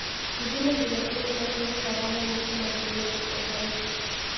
Googulen ile tuguk achon che po kamanut che makyigei kipkosobei